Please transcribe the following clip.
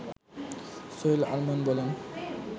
সোহেল আরমান বলেন